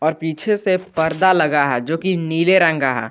और पीछे से पर्दा लगा है जो कि नीले रंग का है।